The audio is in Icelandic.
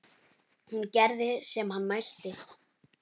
Hún gerði sem hann mælti.